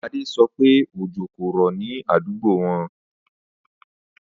Adé so̩ pé òjò kò rò̩ ní àdúgbò wo̩n